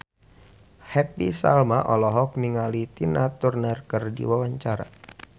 Happy Salma olohok ningali Tina Turner keur diwawancara